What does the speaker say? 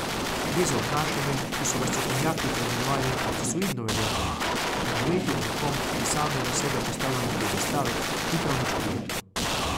Gre za obnašanje, ki so ga strokovnjaki poimenovali narcisoidno vedenje, in živeti ob nekom, ki samega sebe postavlja na piedestal, ni prav nič prijetno.